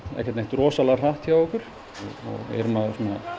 rosalega hratt hjá okkur við erum að